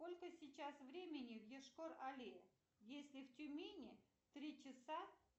сколько сейчас времени в йошкар оле если в тюмени три часа